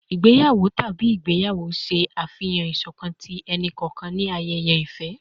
Igbeyawo tabi igbeyawo ṣe afihan iṣọkan ti ẹni-kọọkan ni ayẹyẹ ifẹ